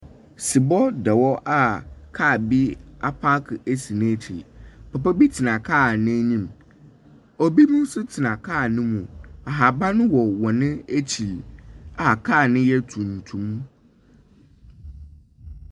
Sebɔ da hɔ a car bi apaake asi n'ekyi. Papa tena car no enyim. Obi nso tena car no mu. Ahaban wɔ car no akyir a car no yɛ tuntum.